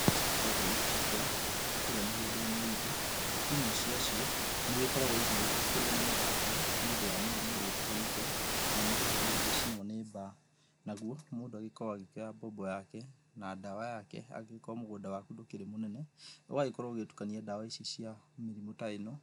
Ĩndo ĩria cikoragwo ĩgĩgĩkũra kũrĩa mĩgũnda-inĩ ĩtũ ĩmwe ciacio nĩ ĩgĩkoragwo ĩgĩgĩthũkĩrwo nĩ mathangũ nĩ ũndũ wa mĩrimũ ĩrĩa ĩtiganĩte kana nĩ gũkorwo ĩgĩgĩcinwo nĩ mbaa. Naguo mũndũ agĩkoragwo agĩkĩoya mbombo yake na ndawa yake angĩgĩkorwo mũgũnda waku ndũkĩrĩ mũnene ũgagĩkorwo ũgĩtukania ndawa icio cia mĩrimũ ta ĩno